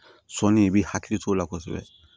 Sɔnni i b'i hakili t'o la kosɛbɛ